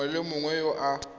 mongwe le mongwe yo a